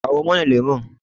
kawo mana lemon!